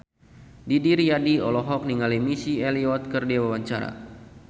Didi Riyadi olohok ningali Missy Elliott keur diwawancara